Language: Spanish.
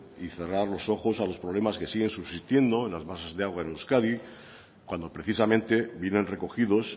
y cerrar los ojos a los problemas que siguen subsistiendo en las masas de agua en euskadi cuando precisamente vienen recogidos